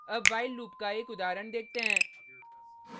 अब while loop का एक उदाहरण देखते हैं